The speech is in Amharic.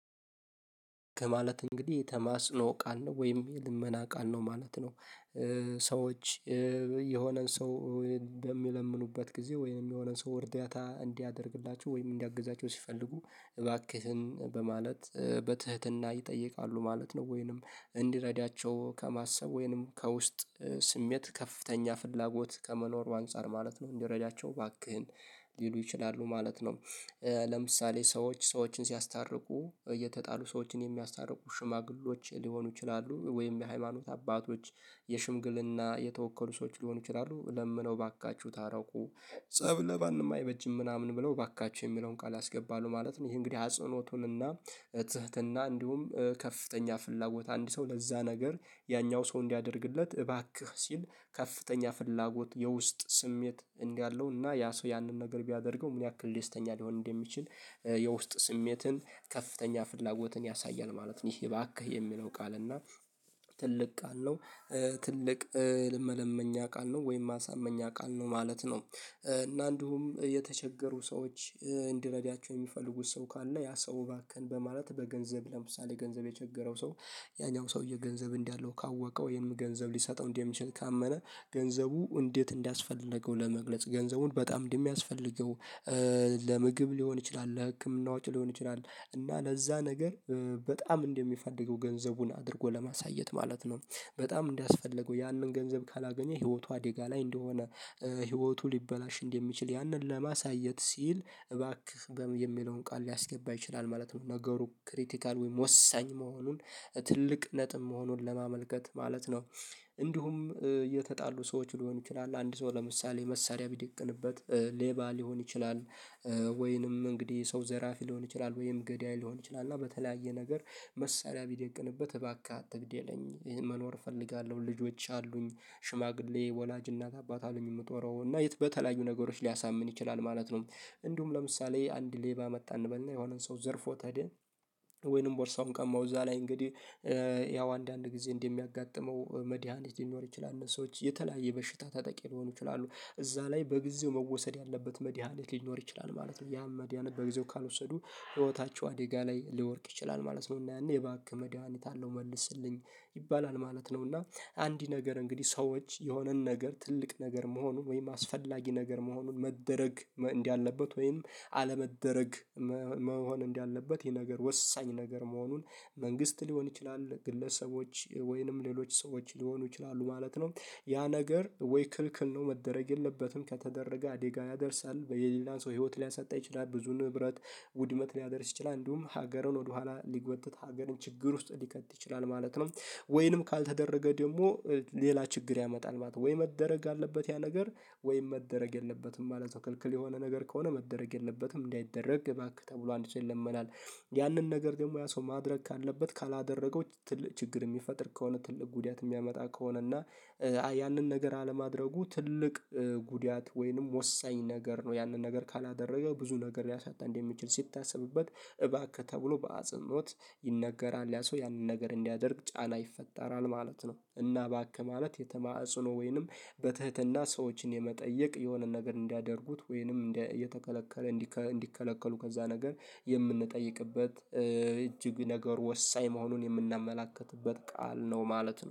ከማለት እንግዲህ ተማስኖ ቃል ነው ወይም የልመና ቃል ነው ማለት ነው። ሰዎች የሆነን ሰው በሚለምኑበት ጊዜ ወይንም የሆነ ሰው እርዳታ እንዲያደርግላቸው ወይም እንዲያግዛቸው ሲፈልጉ እባክህን በማለት በትህትና ይጠይቃሉ ማለት ነው ወይንም እንዲረዳቸው ከማሰብ ወይንም ከውስጥ ስሜት ከፍተኛ ፍላጎት ከመኖር በአንጻር ማለት ነው እንዲረዳቸው ባክህን ሊሉ ይችላሉ ማለት ነው። ለምሳሌ ሰዎች ሰዎችን ሲያስታርቁ የተጣሉ ሰዎችን የሚያስታርቁ ሽማግሌዎች ሊሆኑ ይችላሉ ወይም የሃይማኖት አባቶች የሽምግልና የተወከሉ ሰዎች ሊሆኑ ይችላሉ ለምነው ባካችሁ ታረቁ ፀብ ለማንም አይበጅም ምናምን ብለው እባካችሁ የሚለውን ቃል ያስገባሉ ማለት ነው ይሄ እንግዲህ አጽኖቱንና ትህትና እንዲሁም ከፍተኛ ፍላጎት አንድ ሰው ለዛ ነገር ያኛው ሰው እንዲያደርግለት እባክህ ሲል ከፍተኛ ፍላጎት የውስጥ ስሜት እንዲህ አለው እና ያ ሰው ያንን ነገር ቢያደርገው ምን ያክል ደስተኛ ሊሆን እንደሚችል የውስጥ ስሜትን ከፍተኛ ፍላጎትን ያሳያል ማለት ነው ይህ እባክህ የሚለው ቃል እና ትልቅ ቃል ነው። ትልቅ ል መለመኛ ቃል ነው ወይም ማሳመኛ ቃል ነው ማለት ነው እና እንዲሁም የተቸገሩ ሰዎች እንድረዳቸው የሚፈልጉት ሰው ካለ ያ ሰው እባክህን በማለት በገንዘብ ለምሳሌ ገንዘብ የቸገረው ሰው ያኛው ሰውዬ ገንዘብ እንዳለው ካወቀው ይሄን ገንዘብ ሊሰጠው እንዲህ የሚችል ካመነ ገንዘቡ እንዴት እንዲያስፈልገው ለመግለጽ ገንዘቡን በጣም እንደሚያስፈልገው ለምግብ ሊሆን ይችላል ለህክምና ወጪ ሊሆን ይችላል እና ለዛ ነገር በጣም እንደሚፈደገው ገንዘቡን አድርጎ ለማሳየት ማለት ነው በጣም እንዲያስፈልገው ያንን ገንዘብ ካላገኘ ህይወቷ ዴጋ ላይ እንደሆነ ህይወቱ ሊበላሽ እንደሚችል ያንን ለማሳየት ሲል እባክህ የሚለውን ቃል ሊያስገባ ይችላል ማለት ነው ነገሩ ክሪቲካል ወይም ወሳኝ መሆኑን ትልቅ ነጥብ መሆኑን ለማመልከት ማለት ነው። እንዲሁም የተጣሉ ሰዎች ሊሆኑ ይችላሉ አንድ ሰው ለምሳሌ መሳሪያ ቢደቅንበት ሌባ ሊሆን ይችላል ወይንም እንግዲህ ሰው ዘራፊ ሊሆን ይችላል ወይም ገዳይ ሊሆን ይችላል እና በተለያየ ነገር መሳሪያ ቢደቅንበት እባክህ አትግድ የለኝ መኖር እፈልጋለሁ ልጆች አሉኝ ሽማግሌ ወላጅ እናት አባት አሉኝ የምጠራው እና የት በተለያዩ ነገሮች ሊያሳምን ይችላል ማለት ነው እንዲሁም ለምሳሌ አንድ ሌባ መጣ እንበልና የሆነን ሰው ዘርፎት ሄደ ወይንም ቦርሳውን ከማውዛ ላይ እንግዲህ ያው አንዳንድ ጊዜ እንደሚያጋጥመው መድሃኒት ሊኖር ይችላል ሰዎች የተለያየ በሽታ ተጠቂ ሊሆኑ ይችላሉ እዛ ላይ በጊዜው መወሰድ ያለበት መድሃኒት ሊኖር ይችላል ማለት ነው ያም መድሃኒት በጊዜው ካልወሰዱ ህይወታቸው አደጋ ላይ ሊወድቅ ይችላል ማለት ነው እና ያኔ እባክህ መድሃኒት አለው መልስልኝ ይባላል ማለት ነው እና አንዲ ነገር እንግዲህ ሰዎች የሆነን ነገር ትልቅ ነገር መሆኑን ወይም አስፈላጊ ነገር መሆኑን መደረግ እንዲህ አለበት ወይም አለመደረግ መሆን እንዳለበት ይሄ ነገር ወሳኝ ነገር መሆኑን መንግስት ሊሆን ይችላል ግለሰቦች ወይንም ሌሎች ሰዎች ሊሆኑ ይችላሉ ማለት ነው። ያ ነገር ወይ ክልክል ነው መደረግ የለበትም ከተደረገ አዴጋ ያደርሳል የሌላን ሰው ህይወት ሊያሳጣ ይችላል ብዙ ንብረት ውድመት ሊያደርስ ይችላል እንዲሁም ሀገሩን ወደኋላ ሊጎትት ሀገርን ችግር ውስጥ ሊከት ይችላል ማለት ነው። ወይንም ካልተደረገ ደግሞ ሌላ ችግር ያመጣል ማለት ነው ወይ መደረግ አለበት ያ ነገር ወይ መደረግ የለበትም መለት ነው ክልክል የሆነ ነገር ከሆነ መደረግ የለበትም እንዳይደረግ እባክህ ተብሎ አንድ ሰው ይለመናል ያንን ነገር ደግሞ ያ ሰው ማድረግ ካለበት ካላደረገው ትልቅ ችግር የሚፈጥር ከሆነ ትልቅ ጉዳት የሚያመጣ ከሆነ እና ያንን ነገር አለማድረጉ ትልቅ ጉዳት ወይንም ወሳኝ ነገር ነው ያንን ነገር ካላደረገው ብዙ ነገር ያሳጣል እንደሚችል ስታስብበት እባክህ ተብሎ በአጽንኦት ይነገራል ያ ሰው ያንን ነገር እንዲያደርግ ጫና ይፈጠራል ማለት ነው እና ባክህ ማለት የተማጽኖ ወይንም በትህትና ሰዎችን የመጠየቅ የሆነ ነገር እንዲያደርጉት ወይንም እንዲህ እየተከለከለ እንዲከለከሉ ከዛ ነገር የምንጠይቅበት እጅግ ነገር ወሳኝ መሆኑን የምናመላክትበት ቃል ነው ማለት ነው።